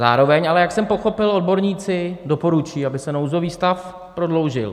Zároveň ale, jak jsem pochopil, odborníci doporučují, aby se nouzový stav prodloužil.